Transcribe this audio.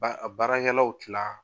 Ba a baarakɛlaw tila